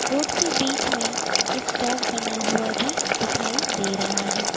Road के बीच में एक चौक बना हुआ भी दिखाई दे रहा है।